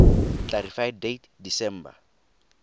clarify date december